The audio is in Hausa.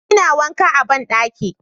ina wanka a banɗaki